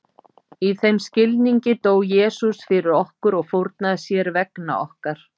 Í þeim skilningi dó Jesús fyrir okkur og fórnaði sér vegna okkar.